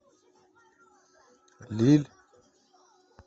лилль